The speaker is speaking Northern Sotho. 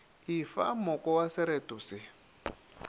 efa moko wa sereto se